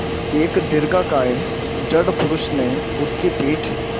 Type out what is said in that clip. एक दीर्घकाय दृढ़ पुरूष ने उसकी पीठ